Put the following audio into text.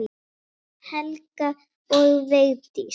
Helga og Vigdís.